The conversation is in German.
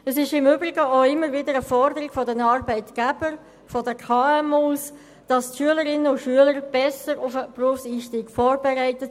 Es ist im Übrigen auch immer wieder eine Forderung der Arbeitgeber seitens von KMU, die Schülerinnen und Schüler besser auf den Berufseinstieg vorzubereiten.